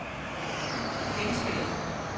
genskab